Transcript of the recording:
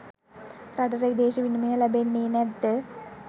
රටට විදේශ විනමය ලැබෙන්නේ නැත්ද?